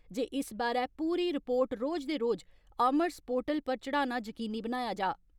इस बारै पूरी रिपोर्ट रोज दे रोज आर्मस पोर्टल पर चाढ़ना यकीनी बनाया जा।